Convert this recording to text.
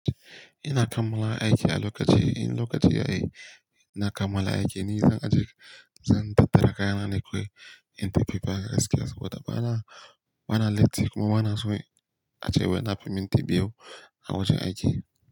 Ina kammala aiki a lokaci, in lokaci yayi na kammala aiki ni zan aje, zan tattara kayana ne kawai in tafi baya gaskiya suka. Bana, bana latti kuma bana so a ce wai nafi minti biyu a wajen aiki.